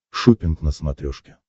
шоппинг на смотрешке